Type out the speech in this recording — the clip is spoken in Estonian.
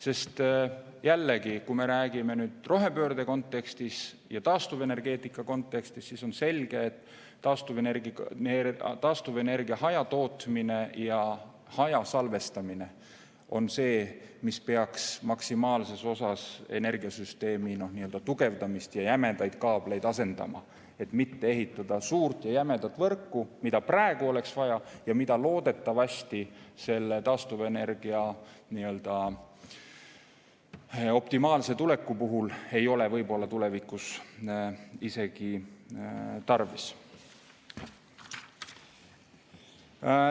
Sest jällegi, kui me räägime rohepöörde kontekstis ja taastuvenergeetika kontekstis, siis on selge, et taastuvenergia hajatootmine ja hajasalvestamine on see, mis peaks maksimaalses osas energiasüsteemi tugevdamist ja jämedaid kaableid asendama, et mitte ehitada suurt ja jämedat võrku, mida praegu oleks vaja ja mida loodetavasti selle taastuvenergia optimaalse tuleku puhul tulevikus võib-olla tarvis ei ole.